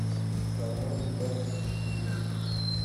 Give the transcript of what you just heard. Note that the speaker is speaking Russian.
карман двадцать четыре